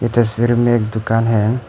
तस्वीर में एक दुकान है।